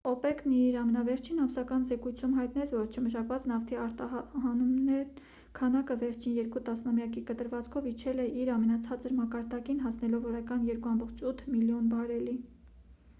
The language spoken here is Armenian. օպեկ-ն իր ամենավերջին ամսական զեկույցում հայտնեց որ չմշակված նավթի արտահանումների քանակը վերջին երկու տասնամյակի կտրվածքով իջել է իր ամենացածր մակարդակին հասնելով օրական 2,8 միլիոն բարելի